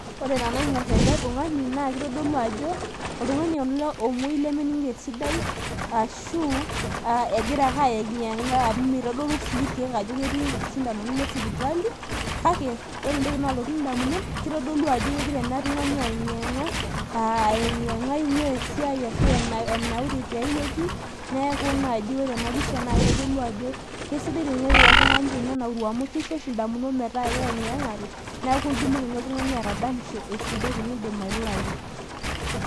ore tenaing'or ele tungani naa kitodolu ajo oltungani ele omuoi, lemening'ito esidai, ashu egira ake ayeng'iyeng'a, amu mitodolu sii irkeek ajo ketii isindanoni le sipitali. kake ore entoki naalotu damunot, kitodolu ajo kegira ele tungani ayeng'iyeng'a, ayenginyeng'a ing'ua esiai ashu enaure tiae wueji neeku kitodolu ore ena pisha naa kitodolu ajo kisidai teniruara oltungani tenenauru amu kisho oshi idamunot metaa eyeng'iyeng'ate neeku itumoki oltungani atadamisho esidai tenidip airurayu.